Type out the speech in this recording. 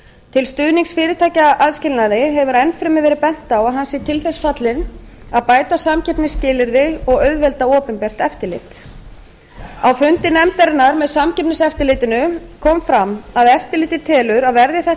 til stuðnings fyrirtækjaaðskilnaði hefur enn fremur verið bent á að hann sé til þess fallinn að bæta samkeppnisskilyrði og auðvelda opinbert eftirlit á fundi nefndarinnar með samkeppniseftirlitinu kom fram að eftirlitið telur að verði þetta